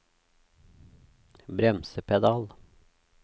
bremsepedal